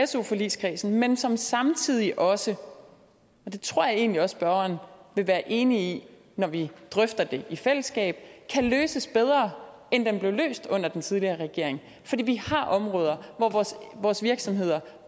su forligskredsen men som samtidig også og det tror jeg egentlig også spørgeren vil være enig i når vi drøfter det i fællesskab kan løses bedre end det blev løst under den tidligere regering fordi vi har områder hvor vores virksomheder